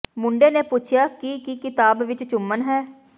ਮੁੰਡੇ ਨੇ ਪੁੱਛਿਆ ਕਿ ਕੀ ਕਿਤਾਬ ਵਿਚ ਚੁੰਮਣ ਹੈ